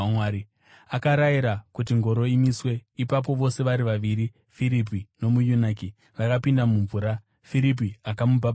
Akarayira kuti ngoro imiswe. Ipapo vose vari vaviri, Firipi nomuyunaki vakapinda mumvura, Firipi akamubhabhatidza.